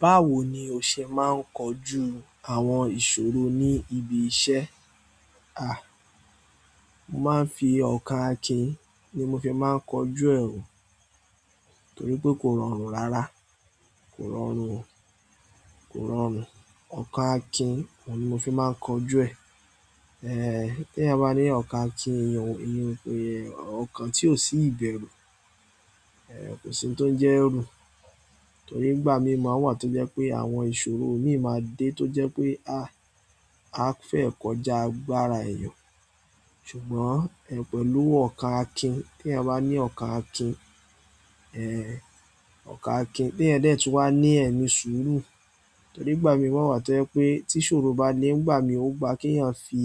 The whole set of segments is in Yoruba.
Báwo ni o ṣe máa ń kojú àwọn ìṣòro ní ibi iṣẹ́? A! Mo máa ń fi ọkàn akin ni mo fi máa ń kojú ẹ̀ o torí pé kò rọrùn rárá, kò rọrùn, kò rọrùn. Ọkàn akin ni mo fi máa ń kọjú ẹ̀. Eh, tí èèyàn bá ní ọkàn akin èèyàn, èèyàn pé ọkà tí ò sí ìbẹ̀rù, eh kò sí ohun tó ń jẹ́ ẹ̀rù. Torí nígbà mìíràn wà tó jẹ́ pé àwọn ìṣòro míì máa dé tó jẹ́ pé a, a fẹ́ kọjá agbára èèyàn. Ṣùgbọ́n pélu ọkàn akín ti èèyàn bá ní ọkàn akín ehn, ọkàn akín té èèyàn dẹ̀ tún wà ní ẹ̀mí sùúrù torí nígbà mìíràn wà tó jẹ́ pé tí ìṣòro bá dé nígbà mìíràn ó gba kí ẹ̀yàn fi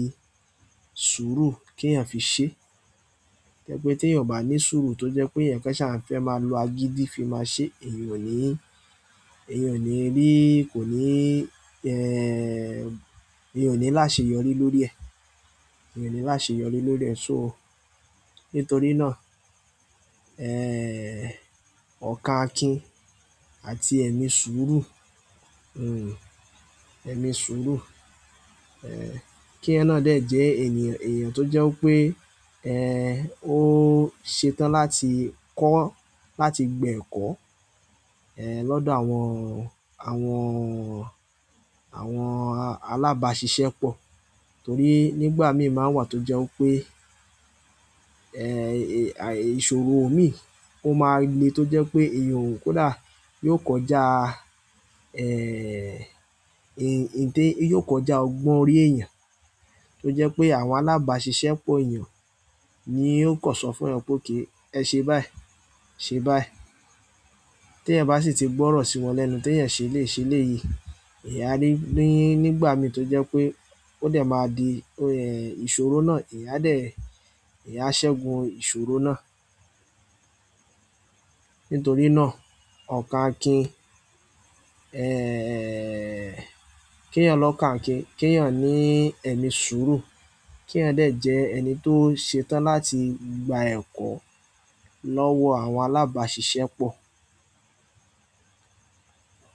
sùúrù kí ẹ̀yàn fi ṣe. To jẹ̀ pé tí eeyàn ò bá ní sùúrù tó jẹ́ pé èèyàn kan ṣà ń fẹ́ máa lo agídí fi máa ṣe, èèyàn ò ní, èèyàn ò ní rí, kò ní ẹ, èèyàn ò ní láṣeyọrí lórí ẹ. Èèyàn òní ní àṣeyọrí lórí ẹ, so nítorí náà eh ọkàn akin àti ẹ̀mí sùúrù, hm ẹ̀mí sùúrù, eh kí yẹn nà dẹ́ẹ̀ jẹ́ ènìyàn, èèyàn tó jẹ́ pé eh ó ṣe tán láti kọ́, láti gba ẹ̀kọ́ eh lọ́dọ̀ àwọn, àwọn, àwọn alábàásisẹ́pọ̀. Torí nígbà mìíràn wà tó jẹ́ pé eh ìṣòro mí ò máa le tó jẹ́ pé èèyàn òun kódà yóò kọjá eh ìń, ìń dé, yóò kọjá ọgbọ́n orí èèyàn. Tó jẹ́ pé àwọn alábàásisẹ́pọ̀ èèyàn ni yóò kọ̀sọ̀ fún ẹ pé oke ẹ ṣe báì, ṣe báì. Tí èèyàn bá sì tí gbọ́rọ̀ sí wọn lẹ́nu tí èèyàn ṣe lè ṣe léyìí, èèyán a ní, ní, nígbà mìíràn tó jẹ́ pé ó dẹ̀ máa di oh ẹ̀ ìṣòro náà, èèyàn á dẹ̀ ẹ́, èèyán a ṣẹ́gun ìṣòro náà. Nítorí náà, ọkàn akin eh kí eeyàn lọkán àkin, kí èèyàn ní ẹ̀mí sùúrù, kí èèyàn dẹ́ẹ̀ jẹ́ ẹni tó ṣe tán láti gba ẹ̀kọ́ lọ́wọ́ àwọn alábàásisẹ́pọ̀.